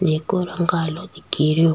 जिको रंग कालो दिखेरयो।